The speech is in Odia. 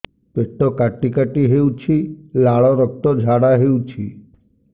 ପେଟ କାଟି କାଟି ହେଉଛି ଲାଳ ରକ୍ତ ଝାଡା ହେଉଛି